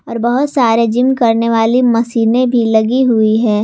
और बहुत सारे जिम करने वाली मशीनें भी लगी हुई हैं।